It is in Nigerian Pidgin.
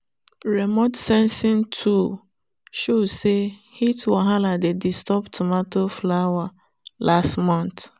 remote sensing tool show say heat wahala dey disturb tomato flower last month.